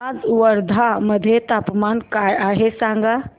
आज वर्धा मध्ये तापमान काय आहे सांगा